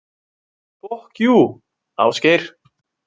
Fokk jú, Ásgeir.